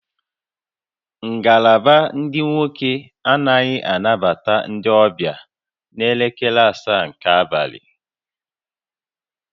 Ngalaba ndị nwoke anaghị anabata ndị ọbịa n'elekere asaa nke abalị